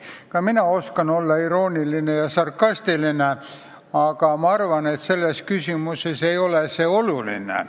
Ka mina oskan olla irooniline ja sarkastiline, aga ma arvan, et selles küsimuses ei oleks seda vaja.